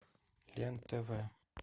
лен тв